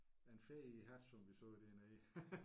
En fjer i hatten som vi siger dernede